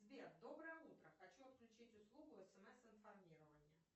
сбер доброе утро хочу отключить услугу смс информирование